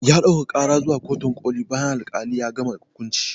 Ya ɗaukaka karar zuwa kotun koli bayan al-kalin ya gama hukunci